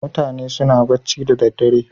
Mutane suna bacci da daddare.